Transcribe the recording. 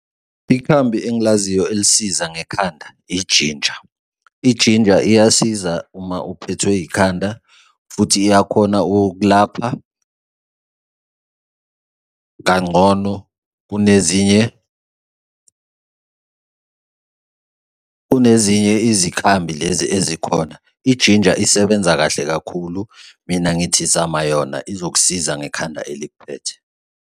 Ikhambi engilaziyo elisiza ngekhanda ijinja. Ijinja iyasiza uma uphethwe ikhanda futhi iyakhona ukukulapha kangcono kunezinye, kunezinye izinkambi lezi ezikhona, ijinja isebenza kahle kakhulu. Mina ngithi zama yona izokusiza ngekhanda elikuphethe.